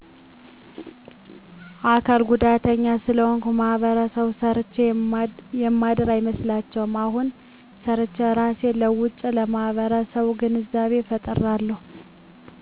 አካል ጉዳተኛ ስለሆንኩ ማህበረሰቡ ሰርቸ የማድር አይመስላቸዉም አሁን ሰርቸ እራሴን ለዉጨለማህበረሰቡ ግንዛቤ ፈጥራለሁ